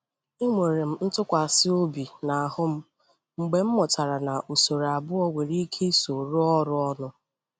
E nwèrè m ntụkwàsị obi n’ahụ́ m mgbe m mụtara na usoro abụọ nwere ike iso rụọ ọrụ ọnụ.